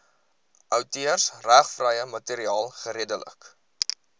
outeursregvrye materiaal geredelik